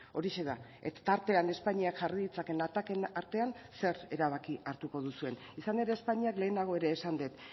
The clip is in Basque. horixe da tartean espainiak jarri ditzaken atakeen artean zer erabaki hartuko duzuen izan ere espainiak lehenago ere esan dut